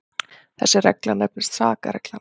þessi regla nefnist sakarreglan